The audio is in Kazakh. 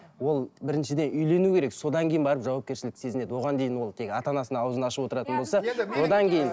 ол біріншіден үйлену керек содан кейін барып жауапкершілікті сезінеді оған дейін ол тек ата анасына ауызын ашып отыратын болса одан кейін